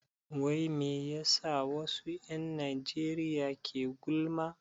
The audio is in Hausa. Wai me yasa wasu 'yan Najeriya ke gulma?